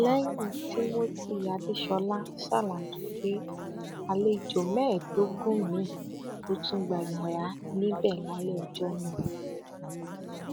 lẹyìn timothy adeṣọla ṣàlàyé pé àlejò mẹẹẹdógún míì ló tún gba yàrá níbẹ lálẹ ọjọ náà